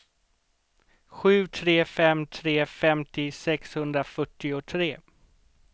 sju tre fem tre femtio sexhundrafyrtiotre